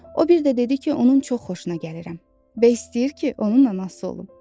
O bir də dedi ki, onun çox xoşuna gəlirəm və istəyir ki, onun anası olum.